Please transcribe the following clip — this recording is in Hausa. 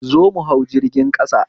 Zo mu hau jirgin ƙasa